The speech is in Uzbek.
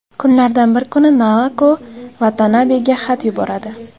Kunlardan bir kuni Naoko Vatanabega xat yuboradi.